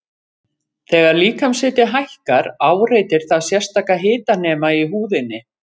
Þegar líkamshiti hækkar áreitir það sérstaka hitanema í húðinni.